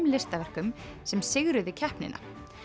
listaverkum sem sigruðu keppnina